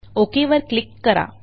okay वर क्लिक करा